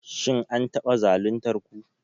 Shin an taba zaluntar ku?